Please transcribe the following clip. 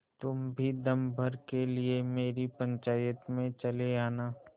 तुम भी दम भर के लिए मेरी पंचायत में चले आना